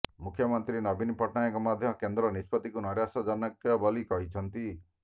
ମୁଖ୍ୟମନ୍ତ୍ରୀ ନବୀନ ପଟ୍ଟନାୟକ ମଧ୍ୟ କେନ୍ଦ୍ର ନିଷ୍ପତ୍ତିକୁ ନୈରାଶ୍ୟଜନକ ବୋଲି କହିଛନ୍ତି